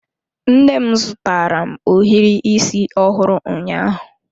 Nne m zụtara m ohiri isi ọhụrụ ụnyaahụ.